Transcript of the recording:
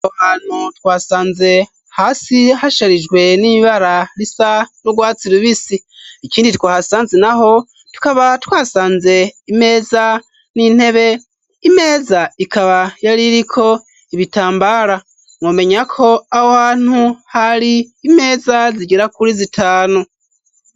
Aho hantu twasanze hasi hasherijwe n'ibara risa nu rwatsi rubisi ,ikindi twahasanze naho tukaba twasanze imeza n'intebe, imeza ikaba yari iriko ibitambara mwomenya ko aho hantu ,hari imeza zigera kuri zitanu.